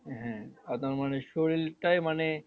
হ্যাঁ শরীরটাই মানে